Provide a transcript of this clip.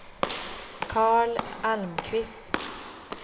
Karl Almqvist